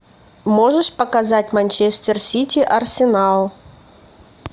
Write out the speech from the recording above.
можешь показать манчестер сити арсенал